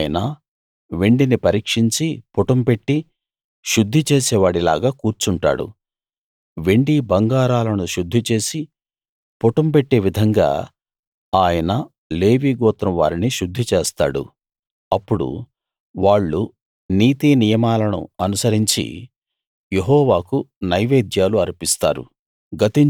ఆయన వెండిని పరీక్షించి పుటం పెట్టి శుద్ధి చేసేవాడిలాగా కూర్చుంటాడు వెండి బంగారాలను శుద్ధి చేసి పుటంపెట్టే విధంగా ఆయన లేవీ గోత్రం వారిని శుద్ధి చేస్తాడు అప్పుడు వాళ్ళు నీతి నియమాలను అనుసరించి యెహోవాకు నైవేద్యాలు అర్పిస్తారు